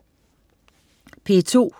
P2: